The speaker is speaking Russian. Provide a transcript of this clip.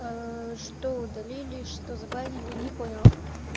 ээ что удалили что забанили не понял